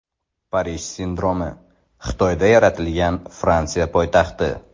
Parij sindromi: Xitoyda yaratilgan Fransiya poytaxti .